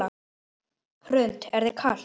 Hrund: Er þér ekki kalt?